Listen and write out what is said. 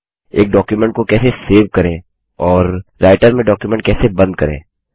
एक डॉक्युमेंट को कैसे सेव करें और राइटर में डॉक्युमेंट कैसे बंद करें